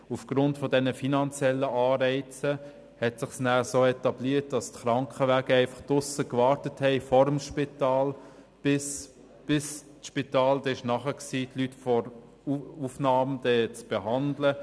Aufgrund dieser finanziellen Anreize hat es sich so etabliert, dass die Ambulanzen draussen vor dem Spital gewartet haben, bis das Spital in der Lage war, die Personen zu behandeln.